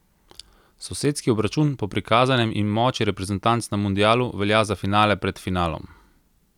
Sosedski obračun po prikazanem in moči reprezentanc na mundialu velja za finale pred finalom.